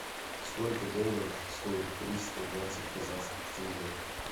сколько долларов стоит триста двадцать казахских тенге